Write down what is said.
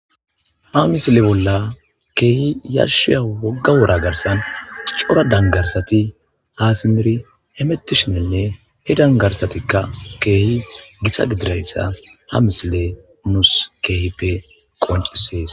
Ha misile bolla keehi yarshiya wogga wora garsan cora dangarsati haasimiri hemettishininne he dangarsatikka keehi githa gidirayssa ha misile muus keehippe qoncisees